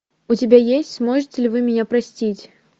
у тебя есть сможете ли вы меня простить